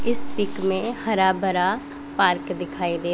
इस पिक में हरा भरा पार्क दिखाई दे--